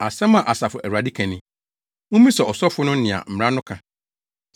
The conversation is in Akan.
“Asɛm a Asafo Awurade ka ni: ‘Mummisa asɔfo no nea mmara no ka.